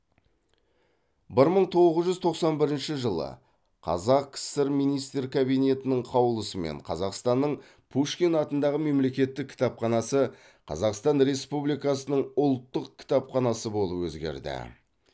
бір мың тоғыз жүз тоқсан бірінші жылы қазақ кср министрлер кабинетінің қаулысымен қазақстанның пушкин атындағы мемлекеттік кітапханасы қазақстан республикасының ұлттық кітапханасы болып өзгерді